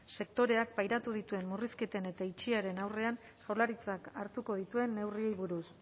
sektoreak pairatu dituen murrizketen eta itxieraren aurrean jaurlaritzak hartuko dituen neurriei buruz